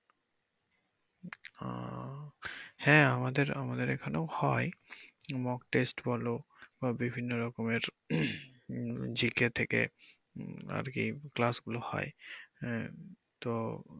ও হ্যা আমদের আমাদের এখানেও হয় moc test বলো বা বিভিন্ন রকমের উম GK থেকে আরকি class গুলো হয় আহ তো